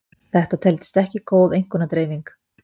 þetta teldist ekki góð einkunnadreifing